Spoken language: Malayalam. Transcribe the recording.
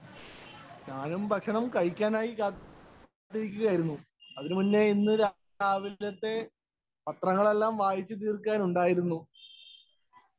സ്പീക്കർ 1 ഞാനും ഭക്ഷണം കഴിക്കാനായി കാത്തിരിക്കുകയായിരുന്നു. അതിനു മുന്നേ ഇന്ന് രാവിലത്തെ പത്രങ്ങളെല്ലാം വായിച്ചു തീര്‍ക്കാനുണ്ടായിരുന്നു.